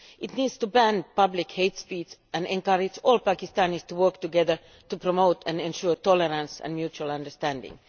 It needs to ban public hate speeches and encourage all Pakistanis to work together to promote and ensure tolerance and mutual understanding.